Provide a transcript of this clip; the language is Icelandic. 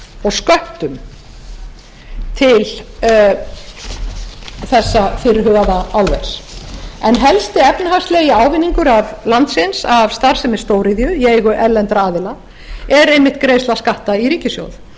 og sköttum til þessa fyrirhugaða álvers en helsti efnahagslegi ávinningur landsins af starfsemi stóriðju í eigu erlendra aðila er einmitt greiðsla skatta í ríkissjóð